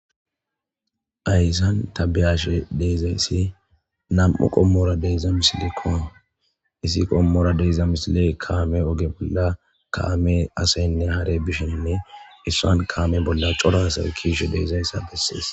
Hayssan ta biyaashe dizayssi nam7u qommora diza misilekko isi qommora diza misiley kaame oge bolla kaame asaynne hare bishenne issan kaame bolla cora asawe kiishe deezayssa bessees.